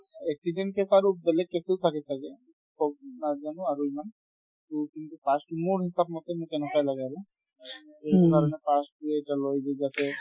accident case আৰু বেলেগ case ও থাকে ছাগে ক' নাজানো আৰু ইমান মোৰ কিন্তু pass তো মোৰ হিচাপ মতে মোৰ তেনেকুৱাই লাগে আৰু এইটো কাৰণত pass তো এতিয়া লয় যে যাতে